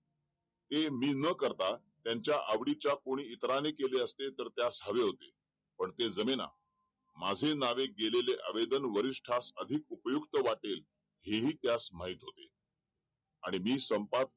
हे मी ना करता त्याचा आवडीचा कोणी इतराने केले होते त्यास हवे होते पण ते जमेना, माझे नावे घेलेले आवेदन वरिष्ठ हा अधिक उपयुक्त वाटेल ही-ही त्यास माहिती होतील आणि मी